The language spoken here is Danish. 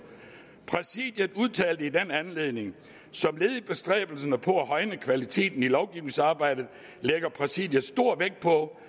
præsidiet udtalte i den anledning som led i bestræbelserne på at højne kvaliteten i lovgivningsarbejdet lægger præsidiet stor vægt på